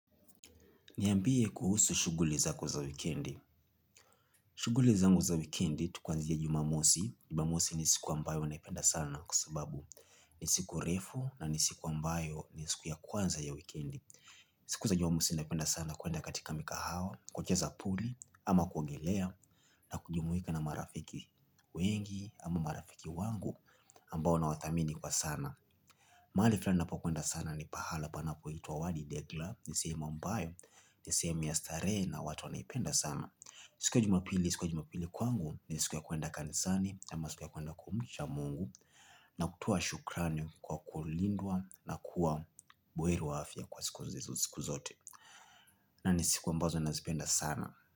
Niambie kuhusu shuguli zako za wikendi. Shuguli zangu za wikendi, tu kwanzia jumamosi. Jumamosi ni siku ambayo naipenda sana kwa sababu. Ni siku refu na ni siku ambayo ni siku ya kwanza ya wikendi. Siku za jumamosi naipenda sana kwenda katika mikahawa, kucheza puli, ama kuongelea, na kujumuika na marafiki wengi, ama marafiki wangu, ambao nawathamini kwa sana. Mahali fulani napo kwenda sana ni pahala panapoitwa wadi degla ni sehemu ambayo ni sehemu ya starehe na watu wanaipenda sana. Siku ya jumapili, siku ya jumapili kwangu ni siku ya kwenda kanisani ama siku ya kwenda kumisha Mungu Na kutoa shukrani kwa kulindwa na kuwa buheri wa afia kwa siku zote Nani siku ambazo nazipenda sana.